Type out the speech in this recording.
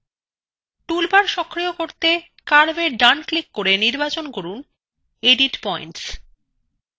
toolbar সক্রিয় করতে curveএ ডানclick করে নির্বাচন করুন এডিট পয়েন্টস